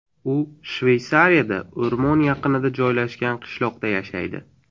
U Shveysariyada o‘rmon yaqinida joylashgan qishloqda yashaydi.